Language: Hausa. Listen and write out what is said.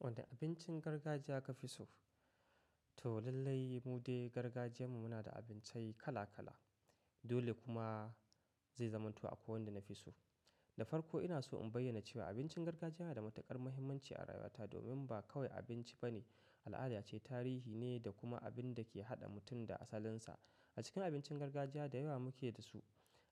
Wani abincin gargajiya ka fi so? To lallai, mu dai gargajiyan mu, muna da abinci kala-kala. Dole kuma zai zamanto akwai wanda na fi so. Da farko ina so in bayyana cewa, abincin gargajiya yana da matukar muhimmanci a rayuwata, domin ba kawai abinci ba ne, al'ada ce, tarihi ne, da kuma abin da ke haɗa mutum da asalinsa. A cikin abincin gargajiya da yawa muke da su.